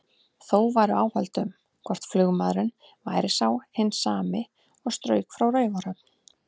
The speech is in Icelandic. Þó væru áhöld um, hvort flugmaðurinn væri sá hinn sami og strauk frá Raufarhöfn.